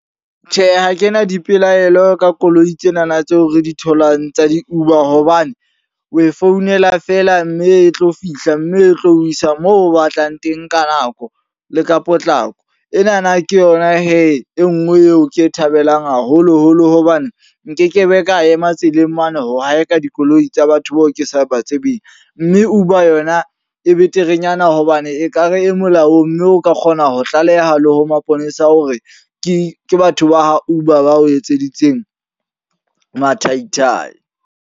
Tjhe, ha ke na dipelaelo ka koloi tsenana tseo re di tholang tsa di-Uber. Hobane o e founela feela. Mme e tlo fihla, mme e tlo o isa moo o batlang teng ka nako le ka potlako. Enana ke yona he e nngwe eo ke e thabelang haholo-holo. Hobane nkekebe ka ema tseleng mono ho haeka dikoloi tsa batho bao ke sa ba tsebeng. Mme Uber yona e beterenyana hobane ekare e molaong. Mme o ka kgona ho tlaleha le ho maponesa hore ke ke batho ba Uber ba o etseditseng mathaithai.